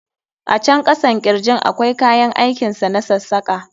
A can kasan kirjin akwai kayan aikin sa na sassaka.